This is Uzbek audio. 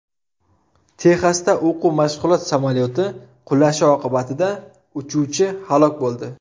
Texasda o‘quv-mashg‘ulot samolyoti qulashi oqibatida uchuvchi halok bo‘ldi.